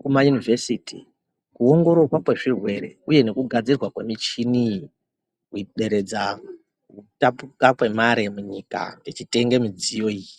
kumayunivhesiti kuongororwa kwezvirwere uye nekugadzirwa kwemichini iyi kuderedza kutapuka kwemare munyika tichitenge midziyo iyi.